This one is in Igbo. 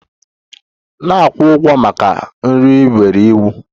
Na-akwụ ụgwọ maka nri ị nyere iwu!